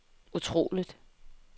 utroligt